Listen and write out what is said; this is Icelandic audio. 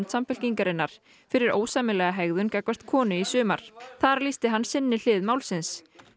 Samfylkingarinnar fyrir ósæmilega hegðun gagnvart konu í sumar þar lýsti hann sinni hlið málsins